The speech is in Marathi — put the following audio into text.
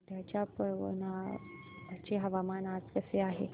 वर्ध्याच्या पवनार चे हवामान आज कसे आहे